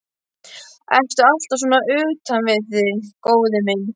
Ertu alltaf svona utan við þig, góði minn?